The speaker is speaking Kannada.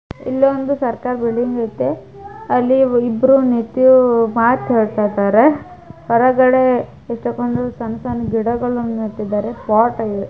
ಇಲ್ಲೊಂದು ಸರ್ಕಾರ ಬಿಲ್ಡಿಂಗ್ ಐತೆ ಅಲ್ಲಿ ಇಬ್ಬ್ರು ನಿತ್ತು ಮಾತಾಡ್ತಿದ್ದಾರೆ ಹೊರಗಡೆ ಎಷ್ಟೋ ಕೊಂದು ಸಣ್ಣ್ ಸಣ್ಣ್ ಗಿಡಗಳ್ನು ನೆಟ್ಟಿದ್ದಾರೆ ಪಾಟ್ --